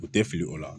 U tɛ fili o la